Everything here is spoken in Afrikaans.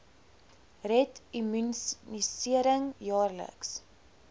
red immunisering jaarliks